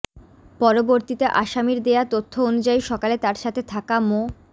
পরবর্তীতে আসামির দেয়া তথ্য অনুযায়ী সকালে তার সাথে থাকা মো